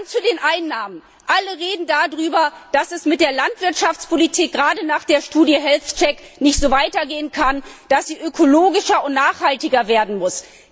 Zu den Einnahmen Alle reden darüber, dass es mit der Landwirtschaftspolitik gerade nach der Gesundheitscheck Studie nicht so weitergehen kann, dass sie ökologischer und nachhaltiger werden muss.